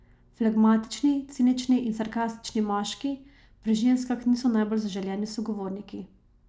Flegmatični, cinični in sarkastični moški pri ženskah niso najbolj zaželeni sogovorniki.